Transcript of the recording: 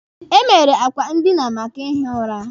E mere akwa ndina maka ihi ụra.